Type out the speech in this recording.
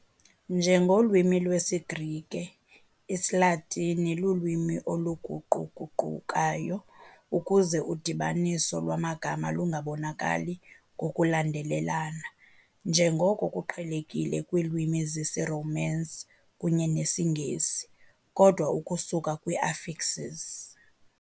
Njengolwimi lwesiGrike, isiLatini lulwimi oluguquguqukayo, ukuze udibaniso lwamagama lungabonakali ngokulandelelana, njengoko kuqhelekile kwiilwimi zesiRomance kunye nesiNgesi, kodwa ukusuka kwi-affixes.